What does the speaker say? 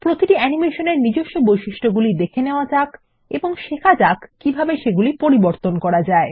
প্রতিটি অ্যানিমেশন এর নিজস্ব বৈশিষ্ট্যগুলি দেখে নেওয়া যাক এবং শেখা যাক কিভাবে সেগুলি পরিবর্তন করা যায়